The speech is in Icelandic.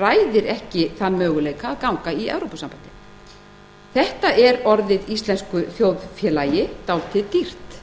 ræðir ekki þann möguleika að ganga í evrópusambandið þetta er orðið íslensku þjóðfélagi dálítið dýrt